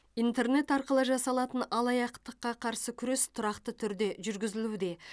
интернет арқылы жасалатын алаяқтыққа қарсы күрес тұрақты түрде жүргізілуде